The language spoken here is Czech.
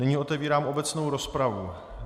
Nyní otevírám obecnou rozpravu.